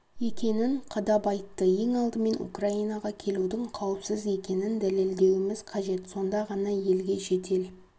екенін қадап айтты ең алдымен украинаға келудің қауіпсіз екенін дәлелдеуіміз қажет сонда ғана елге шетел